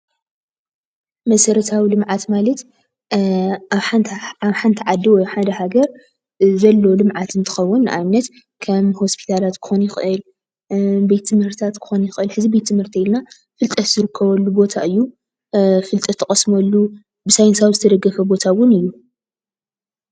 መሰረታዊ ልምዓት ማለት ኣብ ሓንቲ ዓዲ ወይ ኣብ ሓደ ሃገር ዘሎ ልምዓት እንትኸውን ንኣብነት ከም ሆስፒታላት ክኾን ይኽእል፤ ቤት ትምህርታት ክኸውን ይኽእል። ሕዚ ቤት ትምህርቲ እንተይልና ፍልጠት ዝርከበሉ ቦታ እዩ። ፍልጠት ትቐስመሉ ብሳይንሳዊ ዝተደገፈ ቦታ እውን እዩ።